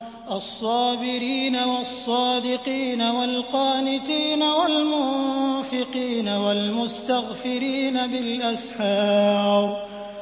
الصَّابِرِينَ وَالصَّادِقِينَ وَالْقَانِتِينَ وَالْمُنفِقِينَ وَالْمُسْتَغْفِرِينَ بِالْأَسْحَارِ